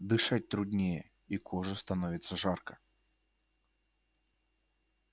дышать труднее и коже становится жарко